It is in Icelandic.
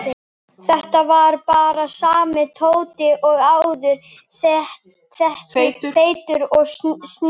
Þetta var bara sami Tóti og áður, feitur og stríðinn.